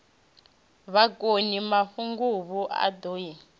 bakoni mahunguvhu a ḓo i